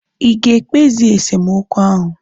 Ịga ekpezi esemokwu ahu?